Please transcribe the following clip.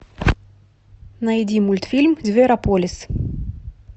найди мультфильм зверополис